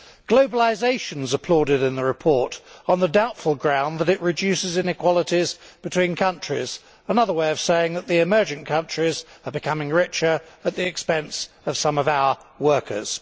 Globalisation is applauded in the report on the doubtful ground that it reduces inequalities between countries, which is another way of saying that the emergent countries are becoming richer at the expense of some of our workers.